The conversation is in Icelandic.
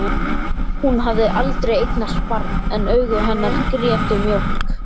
Hún hafði aldrei eignast barn en augu hennar grétu mjólk.